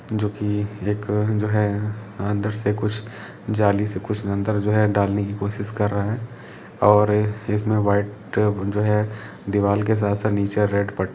जो की एक जो है अंदर से कुछ जाली से कुछ अंदर जो है डालने की कोशिश कर रहे हैं और इसमें वाइट जो है दीवाल के साथ साथ फर्नीचर--